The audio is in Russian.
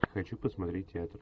хочу посмотреть театр